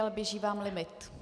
Ale běží vám limit.